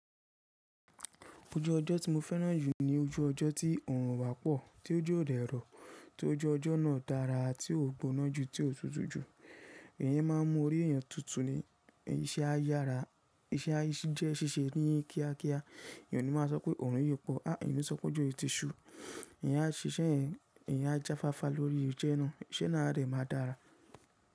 Ojú ọjọ́ tí mo fẹ́ràn jù ní ojú ọjọ́ tí ọrùn o bá pọ̀, tí ójò ò dẹ̀ rọ̀, tí ojú ọjọ́ náà dára ti ó gbóná jù tí ó tutù jù. Èèyàn má a mún orí èyàn tùtù ni, iṣẹ́ a yára, iṣẹ́ a jẹ́ ṣíṣe ní kíá kíá, èèyàn ò ní má a sọ pé ọrùn yìí pọ̀, a èèyàn ò ní sọ pé òjò yìí ti ṣú. Èèyàn á ṣiṣẹ́, èèyàn á jáfáfá lórí iṣẹ́ náà, iṣẹ́ náà dẹ̀ má a dára.